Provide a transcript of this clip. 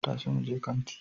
Tashi muje kanti